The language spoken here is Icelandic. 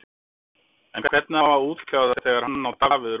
En hvernig á að útkljá það þegar hann og Davíð eru ósammála?